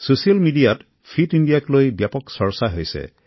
social মিডিয়াত fitness চেলেঞ্জক লৈ ব্যাপক চৰ্চা হৈছে